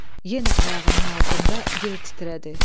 Yenə ayağının altında yer titrədi.